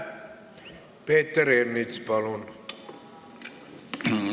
Peeter Ernits, palun!